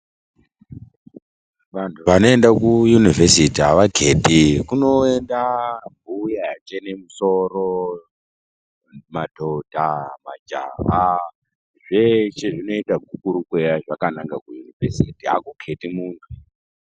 Vanthu vanoenda kuyunivhesiti avakheti kunoenda mbuya yachene musoro, madhodha majaha zveshe, zvinoita gukurukweya zvakananga kuyunivhesiti akukheti munthu.